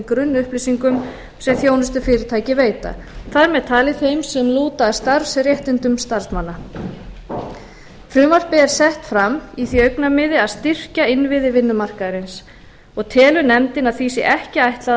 grunnupplýsingum sem þjónustufyrirtæki veita þar með talin þeim sem lúta að starfsréttindum starfsmannanna frumvarpið er sett í því augnamiði að styrkja innviði vinnumarkaðarins og telur nefndin að því sé ekki ætlað að